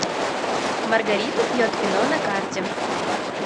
маргарита пьет вино на карте